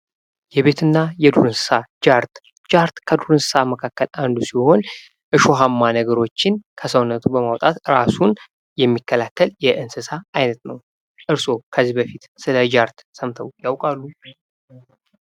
የቤትና የዱር እንስሳት ጃርት። ጃርት ከዱር እንስሳ መካከል አንዱ ሲሆን እሾሃማ ነገሮችን ከሰውነቱ በማውጣት እራሱን የሚከላከል የእንስሳ አይነት ነው። ከዚህ በፊት ስለ ጃርት ሰምተው ያውቃሉ?